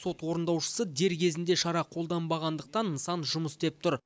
сот орындаушысы дер кезінде шара қолданбағандықтан нысан жұмыс істеп тұр